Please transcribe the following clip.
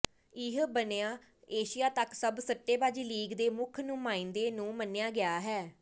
ਇਹ ਬਣਾ ਏਸ਼ੀਆ ਤੱਕ ਸਭ ਸੱਟੇਬਾਜ਼ੀ ਲੀਗ ਦੇ ਮੁੱਖ ਨੁਮਾਇੰਦੇ ਨੂੰ ਮੰਨਿਆ ਗਿਆ ਹੈ